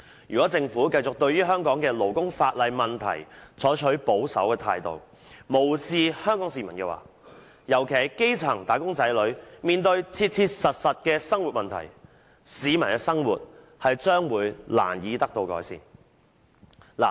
如果政府繼續對於香港勞工法例的問題採取保守態度，無視香港市民，尤其是基層"打工仔女"面對的切切實實的生活問題，市民的生活將會難以得到改善。